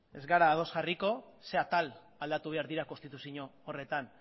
ez gara ados jarriko zer atal aldatu behar dira konstituzio horretan